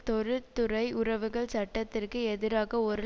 தொழிற்துறை உறவுகள் சட்டத்திற்கு எதிராக ஒரு